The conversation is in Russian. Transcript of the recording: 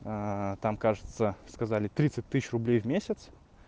там кажется сказали тридцать тысяч рублей в месяц